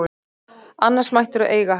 Annars mættirðu eiga hann.